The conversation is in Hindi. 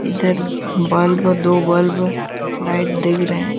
इधर बल्ब दो बल्ब लाइट दिख रहे हैं।